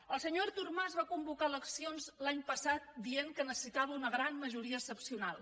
el senyor artur mas va convocar eleccions l’any passat dient que necessitava una gran majoria excepcional